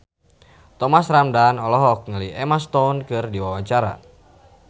Thomas Ramdhan olohok ningali Emma Stone keur diwawancara